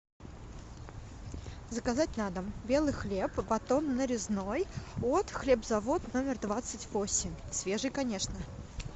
заказать на дом белый хлеб батон нарезной от хлебозавод номер двадцать восемь свежий конечно